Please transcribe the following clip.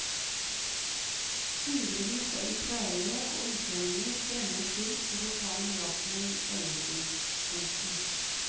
Hundrevis av israelere og utlendinger strømmet til for å ta miraklet i øyensyn. punktum